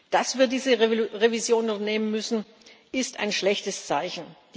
Dass wir diese Revision vornehmen müssen, ist ein schlechtes Zeichen.